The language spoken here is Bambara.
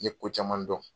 N ye ko caman dɔn